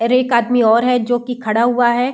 अरे एक आदमी और है जो कि खड़ा हुआ है।